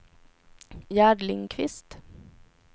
Gerd Lindkvist